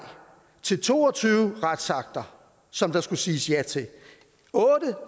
til to og tyve retsakter som der skulle siges ja til otte